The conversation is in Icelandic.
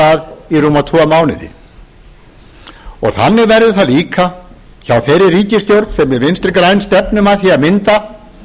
rúma tvo mánuði og þannig verður það líka hjá þeirri ríkisstjórn sem við vssntri græn stefnum að því að mynda